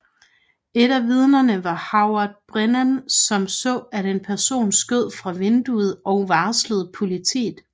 Et af vidnerne var Howard Brennan som så at en person skød fra vinduet og varslede politiet